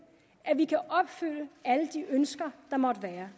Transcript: at vi kan opfylde alle de ønsker der måtte være